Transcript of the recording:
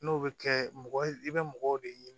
N'o bɛ kɛ mɔgɔ i bɛ mɔgɔw de ɲini